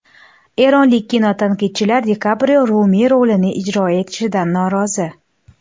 Eronlik kinotanqidchilar Di Kaprio Rumiy rolini ijro etishidan norozi.